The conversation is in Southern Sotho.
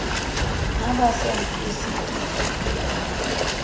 ha ba sa ntlose ke